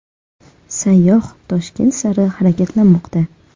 Sayyoh Toshkent sari harakatlanmoqda.